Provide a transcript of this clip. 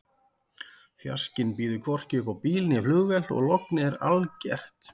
Fjarskinn býður hvorki upp á bíl né flugvél og lognið er algert.